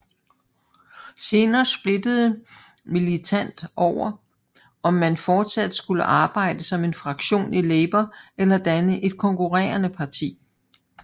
Senere splittede Militant over om man fortsat skulle arbejde som en fraktion i Labour eller danne et konkurenrende parti